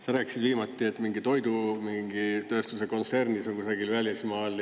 Sa rääkisid viimati, et mingi toidu mingi tööstuse kontsernis või kusagil välismaal.